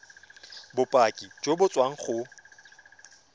bopaki jo bo tswang go